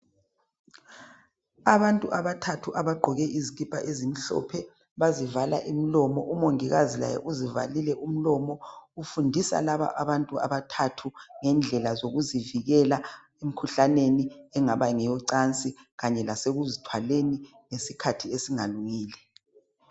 Abantu abathathu abagqoke izikipa ezimhlophe bazivala imlomo umongikazi laye uzivalile umlomo ufundisa laba abantu abathathu ngendlela zokuzivikela emkhuhlaneni engaba ngeyocansi kanye lasekuzithwaleni ngesikhathi esingalungile.